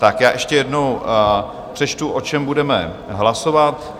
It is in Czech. Tak já ještě jednou přečtu, o čem budeme hlasovat.